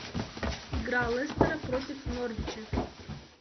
игра лестера против норвича